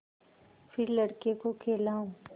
फिर लड़के को खेलाऊँ